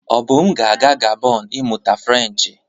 Obum ga-aga Gabon ịmụta Frenchị.